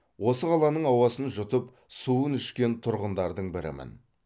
осы қаланың ауасын жұтып суын ішкен тұрғындардың бірімін